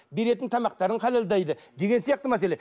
беретін тамақтарын халалдайды деген сияқты мәселе